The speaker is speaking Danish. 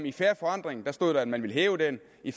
i fair forandring stod der at man ville hæve den og i